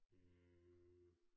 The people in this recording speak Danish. Øh